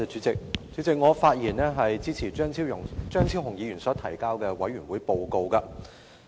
主席，我發言支持張超雄議員提交的兒童權利小組委員會報告。